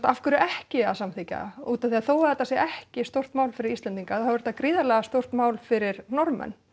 af hverju ekki að samþykkja út af því að þótt þetta sé ekki stórt mál fyrir Íslendinga þá er þetta gríðarlega stórt mál fyrir Norðmenn